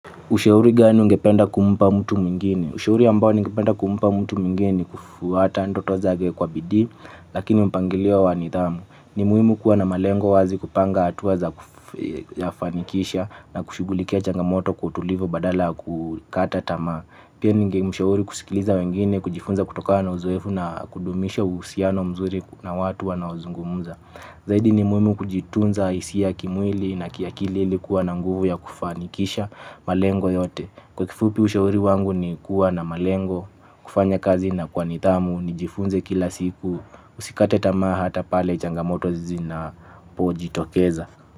Ushauri gani ungependa kumpa mtu mwingine? Ushauri ambao ningependa kumpa mtu mwingine ni kufuata ndoto zake kwa bidii lakini mpangilio wa nidhamu. Ni muhimu kuwa na malengo wazi kupanga hatua za kuyafanikisha na kushughulikia changamoto kwa utulivu badala ya kukata tamaa. Pia ningemshauri kusikiliza wengine, kujifunza kutokana na uzoefu na kudumisha uhusiano mzuri na watu wanaozungumza. Zaidi ni muhimu kujitunza hisia kimwili na kiakili ili kuwa na nguvu ya kufanikisha malengo yote. Kwa kifupi ushauri wangu ni kuwa na malengo, kufanya kazi na kwa nidhamu, nijifunze kila siku, usikate tamaa hata pale changamoto zinapojitokeza.